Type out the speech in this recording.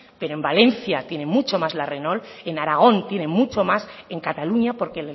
pero en valencia tiene mucho más la renault en aragón tiene mucho más en cataluña porque